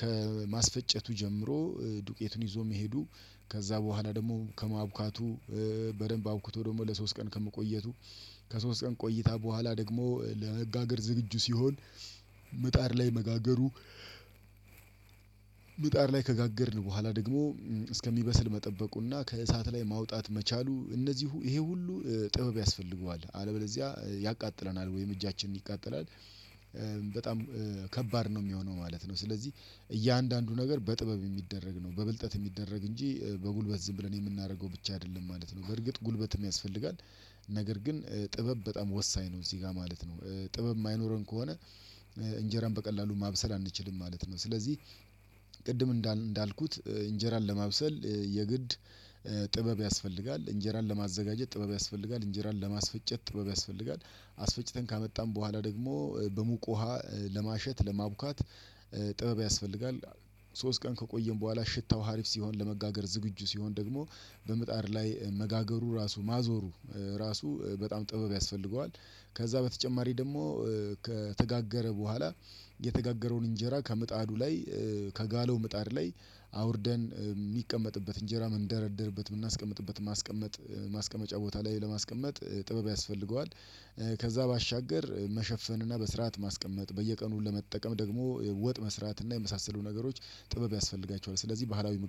ከማስፈጨቱ ጀምሮ ዱቄቱን ይዞ መሄዱ ከዛ በኋላ ደግሞ ከማብካቱ በደንብ አብኩቶ ደግሞ ለሶስት ቀን ከመቆየቱ ከሶስት ቀን ቆይታ በኋላ ደግሞ ለመጋገር ዝግጁ ሲሆን ምጣር ላይ መጋገሩ ምጣር ላይ ከጋገርን በኋላ ደግሞ እስከሚበስል መጠበቁና ከእሳት ላይ ማውጣት መቻሉ እነዚህ ይሄ ሁሉ ጥበብ ያስፈልገዋል አለበለዚያ ያቃጥለናል ወይም እጃችንን ይቃጠላል። በጣም ከባድ ነው የሚሆነው ማለት ነው። ስለዚህ እያንዳንዱ ነገር በጥበብ የሚደረግ ነው በብልጠት የሚደረግ እንጂ በጉልበት ዝም ብለን የምናደርገው ብቻ አይደለም ማለት ነው። በርግጥ ጉልበትም ያስፈልጋል ነገር ግን ጥበብ በጣም ወሳኝ ነው። እዚህ ጋር ማለት ነው ጥበብ የማይኖረን ከሆነ እንጀራን በቀላሉ ማብሰል አንችልም ማለት ነው። ስለዚህ ቅድም እንዳልኩት እንጀራን ለማብሰል የግድ ጥበብ ያስፈልጋል እንጀራን ለማዘጋጀት ጥበብ ያስፈልጋል እንጀራን ለማስፈጨት ጥበብ ያስፈልጋል አስፈጭተን ካመጣን በኋላ ደግሞ በሙቅ ውሃ ለማሸት ለማቡካት ጥበብ ያስፈልጋል። ሶስት ቀን ከቆየን በኋላ ሽታው ሀሪፍ ሲሆን ለመጋገር ዝግጁ ሲሆን ደግሞ በምጣድ ላይ መጋገሩ ራሱ ማዞሩ ራሱ በጣም ጥበብ ያስፈልገዋል። ከዛ በተጨማሪ ደግሞ ከተጋገረ በኋላ የተጋገረውን እንጀራ ከምጣዱ ላይ ከጋለው ምጣድ ላይ አውርደን የሚቀመጥበት እንጀራ መንደረደርበት የምናስቀምጥበት ማስቀመጥ ማስቀመጫ ቦታ ላይ ለማስቀመጥ ጥበብ ያስፈልገዋል። ከዛ ባሻገር መሸፈን እና በስርዓት ማስቀመጥ በየቀኑ ለመጠቀም ደግሞ ወጥ መስራት እና የመሳሰሉ ነገሮች ጥበብ ያስፈልጋቸዋል ስለዚህ ባህላዊ ምግብ